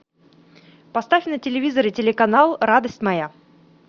поставь на телевизоре телеканал радость моя